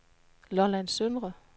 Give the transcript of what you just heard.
Lolland Søndre